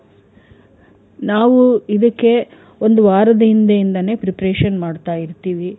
ನಾವು ಇದಕೆ ಒಂದು ವಾರದ ಹಿಂದೆಯಿಂದಾನೆ preparation ಮಾಡ್ತಾ ಇರ್ತೀವಿ.